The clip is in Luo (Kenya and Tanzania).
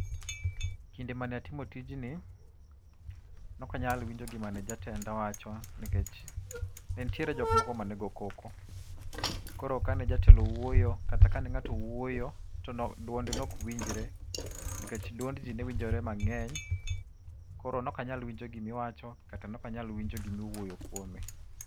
Kinde mane atimo tijni, ne ok anyal winjo gima ne jatenda wacho nikech ne nitiere jok moko mane go koko. Koro kane jatelo owuoyo kata kane ng'ato owuoyo to duonde ne ok winjre nikech duond ji ne winjore mang'eny. Koro ne ok anyal winjo gima iwacho kata ne ok anyal winjo gima iwuoyo kuome.